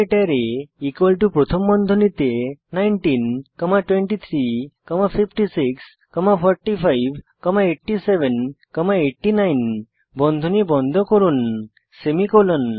array প্রথম বন্ধনীতে 19 comma 23 comma 56 comma 45 comma 87 comma 89 বন্ধনী বন্ধ করুন সেমিকোলন